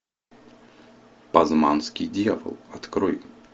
пазманский дьявол открой